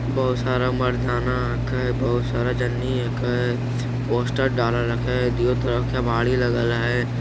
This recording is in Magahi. बहुत सारा मर्दाना आके बहुत सारा जननी एके पोस्टर डाल रखे दियो त्रके भाड़ी लगेल है ।